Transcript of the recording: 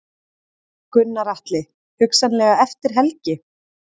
Gunnar Atli: Hugsanlega eftir helgi?